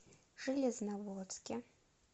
железноводске